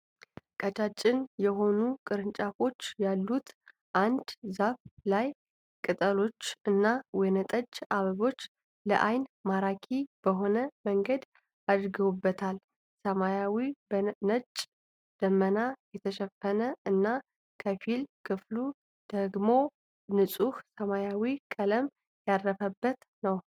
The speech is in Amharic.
ቀጫጭን የሆኑ ቅርንጫፎች ያሉት አንድ ዛፍ ላይ ቅጠሎች እና ወይነጠጅ አበቦች ለአይን ማራኪ በሆነ መንገድ አድገዉበታል። ሰማዩ በነጭ ደመና የተሸፈነ እና ከፊል ክፍሉ ደግሞ ንጹህ ሰማያዊ ቀለም ያረፈበት ነው።